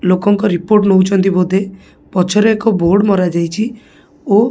ଲୋକଙ୍କ ରିପୋର୍ଟ ନଉଚନ୍ତି ବୋଧେ ପଛରେ ଏକ ବୋର୍ଡ ମରାଯାଇଚି ଓ।